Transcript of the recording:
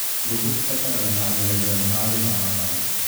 Ngũkũ cirabatara handũ haiganu ha gũthamathama.